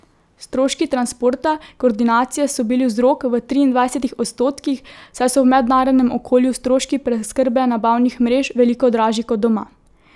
Stroški transporta, koordinacije so bili vzrok v triindvajsetih odstotkih, saj so v mednarodnem okolju stroški preskrbe nabavnih mrež veliko dražji kot doma.